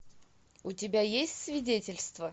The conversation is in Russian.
у тебя есть свидетельство